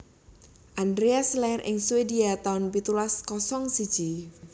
Andreas lair ing Swedia taun pitulas kosong siji